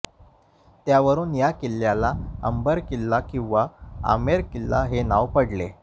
त्यावरुन या किल्ल्याला अंबर किल्ला किंवा आमेर किल्ला हे नाव पडलं